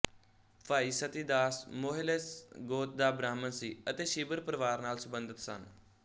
ਭਾਈ ਸਤੀ ਦਾਸ ਮੋਹਿਲਸ ਗੋਤ ਦਾ ਬ੍ਰਾਹਮਣ ਸੀ ਅਤੇ ਛੀਬਰ ਪਰਿਵਾਰ ਨਾਲ ਸਬੰਧਤ ਸਨ